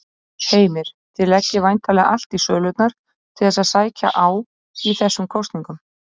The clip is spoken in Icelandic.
Heimir: Þið leggið væntanlega allt í sölurnar til þess að sækja á í þessum kosningum?